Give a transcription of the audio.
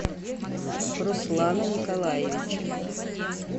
руслана николаевича